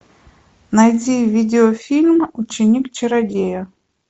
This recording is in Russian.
найди видеофильм ученик чародея